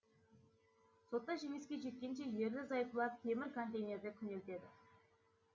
сотта жеңіске жеткенше ерлі зайыптылар темір контейнерде күнелтеді